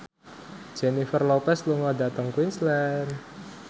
Jennifer Lopez lunga dhateng Queensland